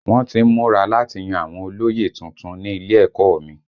Wọ́n tí ń múra láti yan àwọn olóyè tuntun ní ilé ẹ̀kọ́ ọ mi